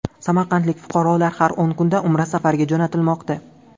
Samarqandlik fuqarolar har o‘n kunda Umra safariga jo‘natilmoqda.